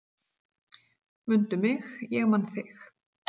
"""Mundu mig, ég man þig"""